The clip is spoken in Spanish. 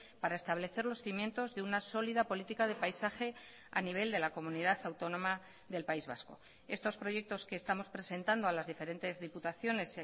para establecer los cimientos de una sólida política de paisaje a nivel de la comunidad autónoma del país vasco estos proyectos que estamos presentando a las diferentes diputaciones